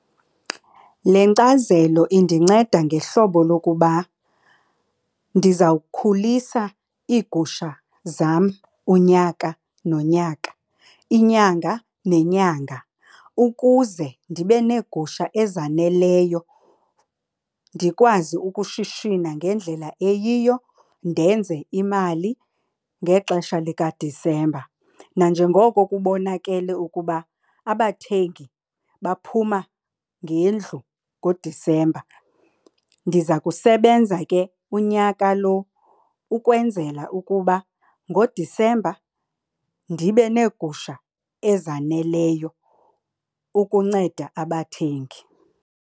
Le nkcazelo indinceda ngehlobo lokuba ndizawukhulisa iigusha zam unyaka nonyaka, inyanga nenyanga ukuze ndibe neegusha ezaneleyo, ndikwazi ukushishina ngendlela eyiyo, ndenze imali ngexesha likaDisemba. Nanjengoko kubonakele ukuba abathengi baphuma ngendlu ngoDisemba, ndiza kusebenza ke unyaka lo ukwenzela ukuba ngoDisemba ndibe neegusha ezaneleyo ukunceda abathengi.